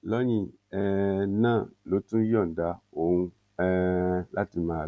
lẹyìn um náà ló tó yọ̀ǹda òun um láti máa lọ